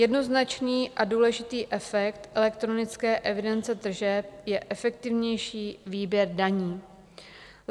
Jednoznačný a důležitý efekt elektronické evidence tržeb je efektivnější výběr daní.